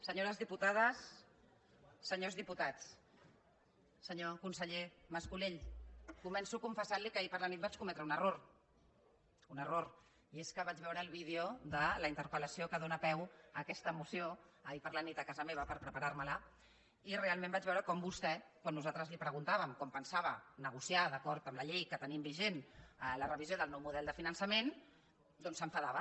senyores diputades senyors diputats senyor conseller mas colell començo a confessar li que ahir a la nit vaig cometre un error un error i és que vaig veure el vídeo de la interpel·lació que dóna peu a aquesta moció ahir a la nit a casa meva per preparar me la i realment vaig veure com vostè quan nosaltres li preguntàvem com pensava negociar d’acord amb la llei que tenim vigent la revisió del nou model de finançament doncs s’enfadava